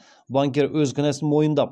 банкир өз кінәсін мойындап